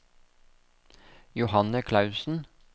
Johanne Klausen